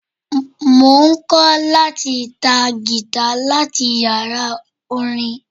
Mo ń kọ́ láti ta Gìtá láti yàrá orin.